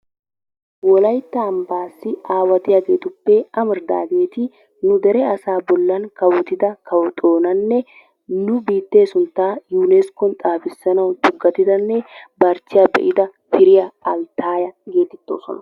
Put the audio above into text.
Wolaytta ambaassi aawatiyaageetuppe amaridaageeti nu dere asaa bolli kawottida kawo xoonnanne nu biittee suntta yuuneskkon xaafisanawu tugatidanne barchiya be'ida piriyawu altaaaya geetettososna.